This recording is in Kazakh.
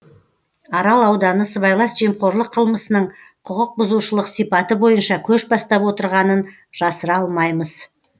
арал ауданы сыбайлас жемқорлық қылмысының құқықбұзушылық сипаты бойынша көш бастап отырғанын жасыра алмаймыз